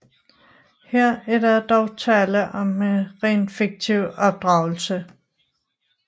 Her er der dog tale om en rent fiktiv opdragelse